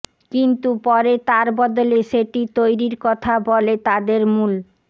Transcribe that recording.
কিন্তু পরে তার বদলে সেটি তৈরির কথা বলে তাদের মূল